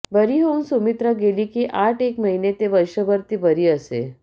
बरी होऊन सुमित्रा गेली की आठएक महिने ते वर्षभर ती बरी असे